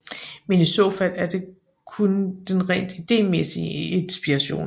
Men i så fald er det kun den rent idémæssige inspiration